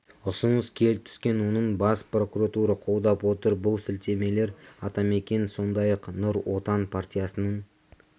ұсыныс келіп түскен оның бас прокуратура қолдап отыр бұл сілтемелер атамекен сондай-ақ нұр отан партиясының